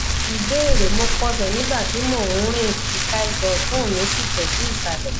ìbéèrè mo kọsẹ nígbà tí mo ń rìn ika ẹsẹ ọtún mi sì tẹ sí isalẹ